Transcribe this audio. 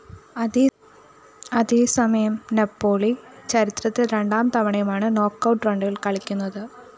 അതേസമയം നാപ്പോളി ചരിത്രത്തില്‍ രണ്ടാം തവണയുമാണ് നോക്കൌട്ട്‌ റൗണ്ടില്‍ കളിക്കുന്നത്